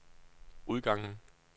udgangen